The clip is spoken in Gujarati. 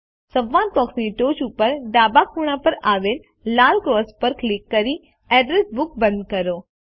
સંવાદ બોક્સની ટોચ ઉપર ડાબા ખૂણામાં પર આવેલ લાલ ક્રોસ પર ક્લિક કરી અડ્રેસ બુક બંધ કરો